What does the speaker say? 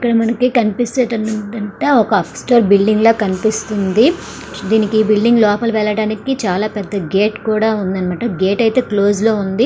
ఇక్కడ మనకి కనిపిస్తుంది ఏంటంటే ఒక అసిస్టరు బిల్డింగ్ లా కనిపిస్తుంది. దీనికి ఈ బిల్డింగ్ లోపలకి వెళ్ళడానికి చాలా పెద్ద గేట్ అయితే ఉన్నాయి. గేట్ అయితే క్లోజ్ లో ఉంది.